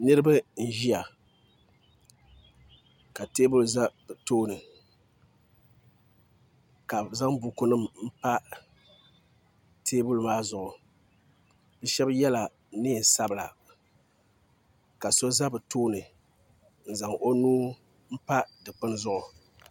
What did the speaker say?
Niraba n ʒiya ka teebuli ʒɛ bi tooni ka bi zaŋ buku nim pa teebuli maa zuɣu bi shab yɛla neen sabila ka so ʒɛ bi tooni n zaŋ o nuu pa dikpuni zuɣu